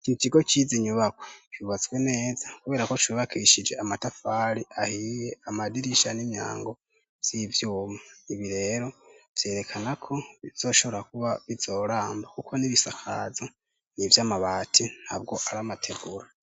ikintu kigo cizi nyubakwa cubatse neza kubera ko cubakishije amatafari ahiye amadirisha n'imyango z'ivyuma ibi rero vyerekana ko bizoshobora kuba bizoramba kuko n'ibisakaza nivy'amabati ntabwo ar'amategura